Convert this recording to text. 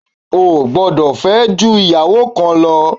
Ò gbọdọ̀ fẹ́ ju ìyàwó kan lọ.